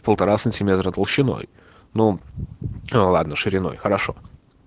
полтора сантиметра толщиной ну ладно шириной хорошо